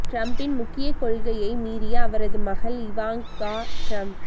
டிரம்பின் முக்கிய கொள்கையை மீறிய அவரது மகள் இவாங்கா டிரம்ப்